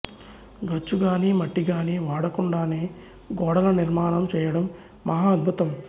గచ్చు గానీ మట్టి గానీ వాడకుండానే గోడల నిర్మాణం చేయడం మహా అద్భుతం